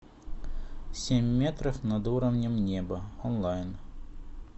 семь метров над уровнем неба онлайн